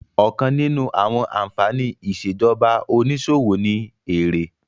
Ọ̀kan nínú àwọn ànfàní ìṣèjọba onísòwò ni èrè